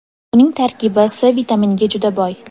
Uning tarkibi C vitaminiga juda boy.